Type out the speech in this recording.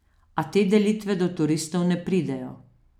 A te delitve do turistov ne pridejo.